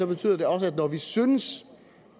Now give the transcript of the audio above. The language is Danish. betyder det også at når vi synes